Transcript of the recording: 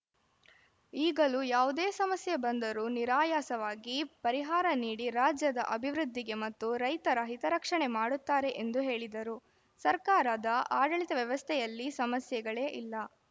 ಈಗಲೂ ಯಾವುದೇ ಸಮಸ್ಯೆ ಬಂದರೂ ನಿರಾಯಾಸವಾಗಿ ಪರಿಹಾರ ನೀಡಿ ರಾಜ್ಯದ ಅಭಿವೃದ್ಧಿಗೆ ಮತ್ತು ರೈತರ ಹಿತರಕ್ಷಣೆ ಮಾಡುತ್ತಾರೆ ಎಂದು ಹೇಳಿದರು ಸರ್ಕಾರದ ಆಡಳಿತ ವ್ಯವಸ್ಥೆಯಲ್ಲಿ ಸಮಸ್ಯೆಗಳೇ ಇಲ್ಲ